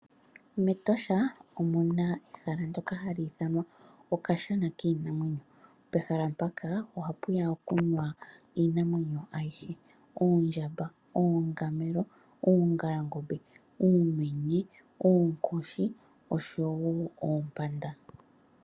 MEtosha omo mokashana iinamwenyo, omuna ehala mboka hapuni iinamwenyo yomaludhi age he.